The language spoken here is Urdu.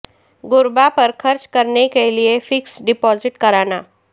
غرباء پر خرچ کرنے کے لیے فکسڈ ڈپازٹ کرانا